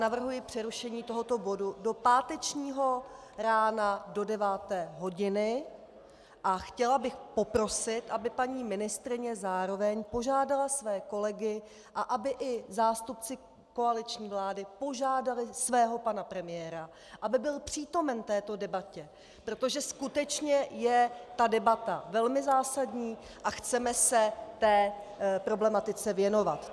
Navrhuji přerušení tohoto bodu do pátečního rána do 9. hodiny a chtěla bych poprosit, aby paní ministryně zároveň požádala své kolegy a aby i zástupci koaliční vlády požádali svého pana premiéra, aby byl přítomen této debatě, protože skutečně je ta debata velmi zásadní a chceme se té problematice věnovat.